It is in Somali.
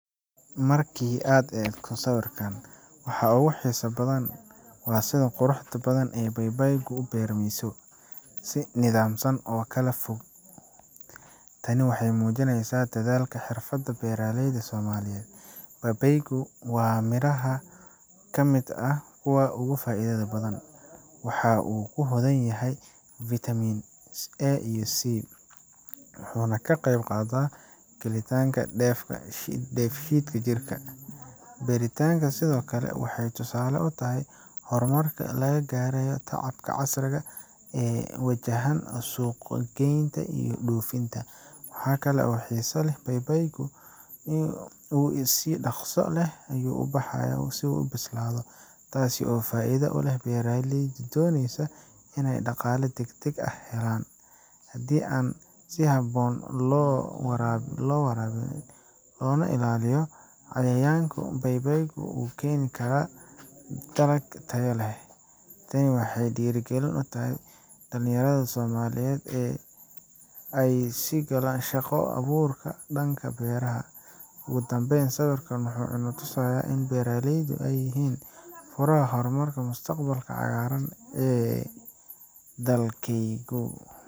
Markii aad eegto sawirkan, waxa ugu xiisaha badan waa sida quruxda badan ee babaaygu u beermayso, si nidaamsan oo kala fog. Tani waxay muujinaysaa dadaalka iyo xirfadda beeraleyda Soomaaliyeed. Babaaygu waa midhaha ka mid ah kuwa ugu faa’iidada badan waxa uu hodan ku yahay fitamiinada A iyo C, wuxuuna ka qayb qaataa hagaajinta dheef-shiidka jirka. Beertani sidoo kale waxay tusaale u tahay horumarka laga gaaray tacabka casriga ah ee ku wajahan suuq geynta iyo dhoofinta. Waxa kale oo xiiso leh in babaaygu uu si dhaqso leh u ayuu ubaxaya oo u bislaado, taas oo faa’iido u leh beeraleyda doonaya in ay dhaqaale degdeg ah helaan. Haddii si habboon loo waraabiyo, loona ilaaliyo cayayaanka, baybaaygu waxa uu keeni karaa dalag tayo leh. Tani waxay dhiirigelin u tahay dhalinyarada Soomaaliyeed si ay u galaan shaqo abuurka dhanka beeraha. Ugu dambayn, sawirkan waxa uu inoo tusayaa in beeraha ay yihiin furaha horumarka iyo mustaqbalka cagaaran ee dalkayagu.